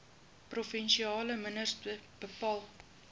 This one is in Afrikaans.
provinsiale minister bepaal